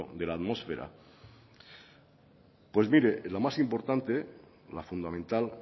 de la atmósfera pues mire la más importante la fundamental